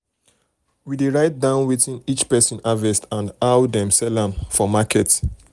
um we dey write um down wetin each person harvest and how dem sell am for market